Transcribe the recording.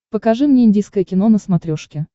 покажи мне индийское кино на смотрешке